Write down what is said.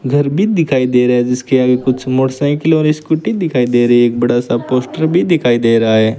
घर भी दिखाई दे रहा है जिसके आगे कुछ मोटरसाइकिल और स्कूटी दिखाई दे रही है एक बड़ा सा पोस्टर भी दिखाई दे रहा है।